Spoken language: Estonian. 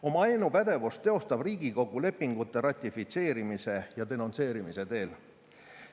Oma ainupädevust teostab Riigikogu lepingute ratifitseerimise ja denonsseerimise teel.